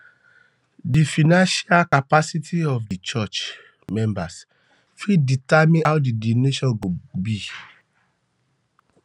di financial um capacity of di um church members fit determine how di donations go go be